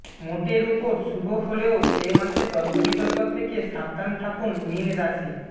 মোটের উপর শুভ হলেও এ মাসে তর্কবিতর্ক থেকে সাবধান থাকুন মীন রাশি